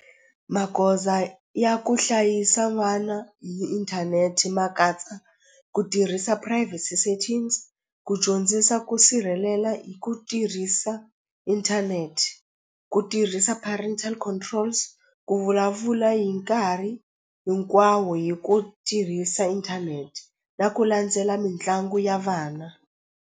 Magoza ya ku hlayisa n'wana hi inthanete ma katsa ku tirhisa private settings ku dyondzisa ku sirhelela hi ku tirhisa inthanete ku tirhisa parental controls ku vulavula hi nkarhi hinkwawo hi ku tirhisa inthanete na ku landzela mitlangu ya vana.